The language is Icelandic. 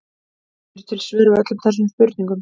Eru til svör við öllum þessum spurningum?